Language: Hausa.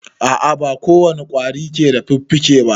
A a ba ko wane ƙwari ke da fiffike ba.